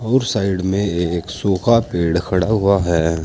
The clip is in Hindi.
और साइड में एक सूखा पेड़ खड़ा हुआ है।